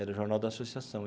Era o Jornal da Associação.